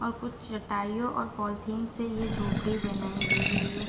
और कुछ चाटाइयो और पोलीथिन से ये झोपडी बनायीं गयी हुई है।